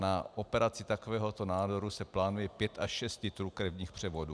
Na operaci takového nádoru se plánuje pět až šest litrů krevních převodů.